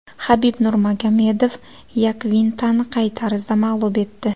Xabib Nurmagomedov Yakvintani qay tarzda mag‘lub etdi?